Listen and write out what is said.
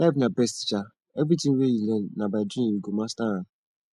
life na best teacher everything wey you learn na by doing you go master am